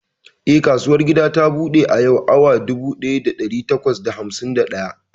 Eh, kasuwar gida ta buɗe a yau awa dubu ɗaya da ɗari takwas da hamsin da ɗaya.